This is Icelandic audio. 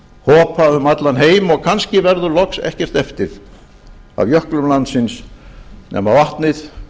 hopa um allan heim að kannski verður loks ekkert eftir af jöklum landsins nema vatnið